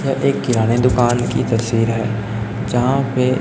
यह एक किराने दुकान की तस्वीर है यहां पे--